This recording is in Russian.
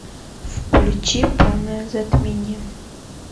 включи полное затмение